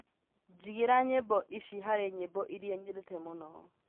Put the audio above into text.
jigīra nyīmbo ici harī nyīmbo īria nyendete mūno